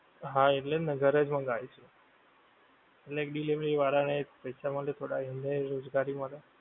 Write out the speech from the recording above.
હા એટલેજ ને ઘરેજ મંગાઈ શું એટલે કે delivery વાળા ને પૈસા મળે એમને રોજગારી મળે